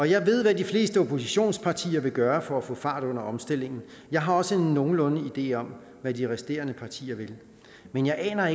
jeg ved hvad de fleste oppositionspartier vil gøre for at få fart i omstillingen jeg har også en nogenlunde idé om hvad de resterende partier vil men jeg aner